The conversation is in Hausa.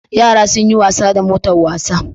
Yara sunyi wasa da motar wasa